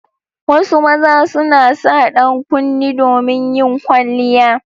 Wasu maza suna sa dankunne domin yin kwalliya.